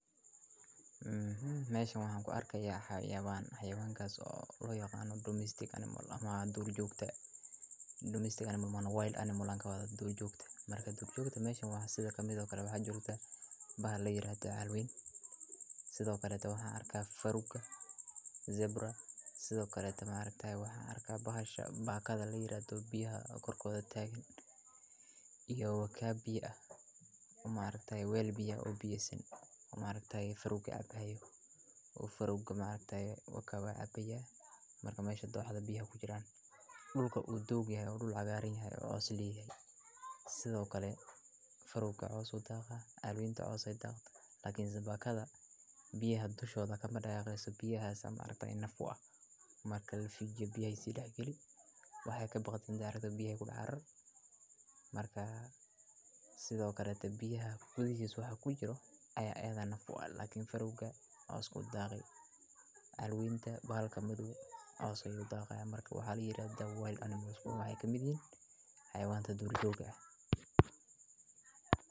Meshan waxaan ku arki hayawaan hayawaan gacantoo loo yaqaano Domestic animal ama doorjoogta. Domestic animal waa Wild animal aan ka badbaaday doorjoogta. Marka doorjoogta meesha waa sida kamid ah waxa jirta baahla yiraahdo aalweyn, sidoo kale ta waxaan arki farooka, zebra, sidoo kale maarekta ah waxaan arki bahasha baahkaada la yiraahdo biyaha kor kooda taagin iyo waka biya ah. Maarkay weyli biya u biyo siin u maraktay wayli biya cabbayo u furuug maarkay wakabaa cabaya marka mayshadda waxa biyaha ku jira. Dhulku u doogyahay, dhul cagaarinahay, oo osliihay sidoo kale farooga coos u dagah aalweynta coos ay dagtaa laakiin si baahkada biyaha bishooda kama dhagayso biyaha san mararka in nafu ah marka la xigyo biyay sida geli waxay ka bixiso taariikhda biyay gudhahar markaa sidoo kale biyaha ku jiso waxaa ku jiro ayaa aad u nafu laakiin farooga oo u dagay aalweynta baahla madow oo ay u dagaya marka waa har yiraahdaa wild animal waa ay kamid yihiin hayawaanta doorjoogta ah.